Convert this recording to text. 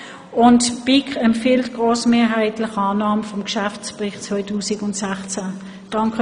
Die BiK empfiehlt Ihnen grossmehrheitlich Annahme des Geschäftsberichts 2016.